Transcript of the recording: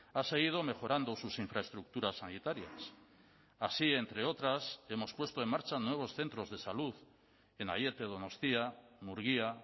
ha seguido mejorando sus infraestructuras sanitarias así entre otras hemos puesto en marcha nuevos centros de salud en aiete donostia murgia